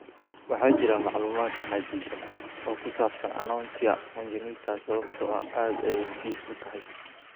Waxaa jira macluumaad xaddidan oo ku saabsan anonychia congenita sababtoo ah aad ayay dhif u tahay.